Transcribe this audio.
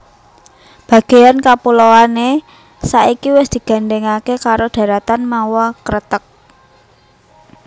Bagéan kapuloané saiki wis digandhèngaké karo dharatan mawa kreteg